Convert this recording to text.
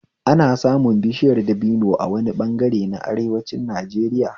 Ana samun bishiyar dabino a wani ɓangare na arewacin Najeriya